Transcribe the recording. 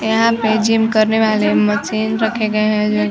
यहाँ पर जीम करने वाले मशीन रखे गए हैं जो की--